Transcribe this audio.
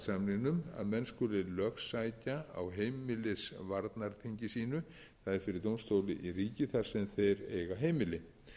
samningnum að menn skuli lögsækja á heimilisvarnarþingi sínu það er fyrir dómstóli í ríki þar sem þeir eiga heimili